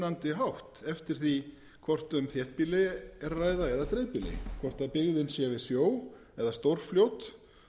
mismunandi hátt eftir því hvort um þéttbýli er að ræða eða dreifbýli hvort byggðin sé við sjó eða stórfljót